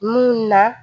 Mun na